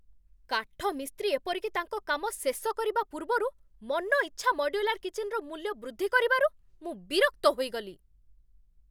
କାଠମିସ୍ତ୍ରୀ ଏପରିକି ତାଙ୍କ କାମ ଶେଷ କରିବା ପୂର୍ବରୁ, ମନଇଚ୍ଛା ମଡ୍ୟୁଲାର କିଚେନ୍‌ର ମୂଲ୍ୟ ବୃଦ୍ଧି କରିବାରୁ ମୁଁ ବିରକ୍ତ ହୋଇଗଲି।